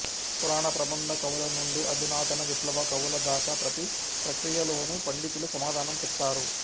పురాణ ప్రబంధ కవులనుండి అధునాతన విప్లవ కవులదాకా ప్రతి ప్రక్రియలోనూ పండితులు సమాధానం చెప్తారు